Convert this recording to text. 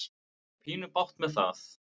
Ég á pínu bágt með það.